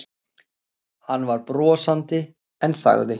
Hann var brosandi en þagði.